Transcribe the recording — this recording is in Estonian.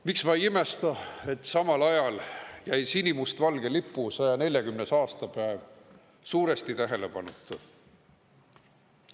Miks ma ei imesta, et samal ajal jäi sinimustvalge lipu 140. aastapäev suuresti tähelepanuta?